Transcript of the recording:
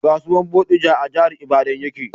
Kasuwan bodija a jahar ibadan ya ke